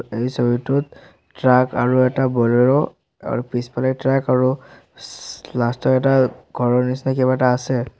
এই ছবিটোত ট্ৰাক আৰু এটা বলেৰো আৰু পিছফালে ট্ৰাক আৰু চা লাষ্ট ত এটা ঘৰৰ নিচিনা কিবা এটা আছে।